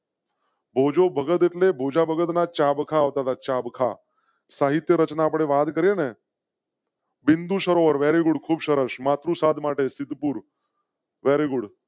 ભોજો ભગત ભોજા ભગતના ચાબખાઓ તા ચાબખા સાહિત્ય રચના પણ વાત કરી ને. બિંદુ સરોવર વેરી ગુડ ખૂબ સરસ માત્ર સાત માટે સિદ્ધપુર. very good